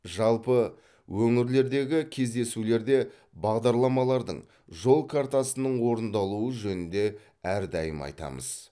жалпы өңірлердегі кездесулерде бағдарламалардың жол картасының орындалуы жөнінде әрдайым айтамыз